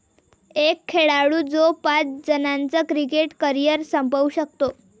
एक खेळाडू जो पाच जणांचं क्रिकेट करिअर संपवू शकतो!